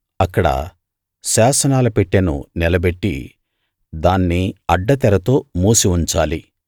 అక్కడ శాసనాల పెట్టెను నిలబెట్టి దాన్ని అడ్డ తెరతో మూసి ఉంచాలి